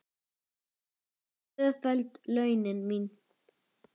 Tvöföld launin mín.